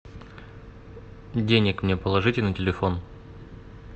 денег мне положите на телефон